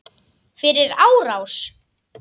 Fyrir árás?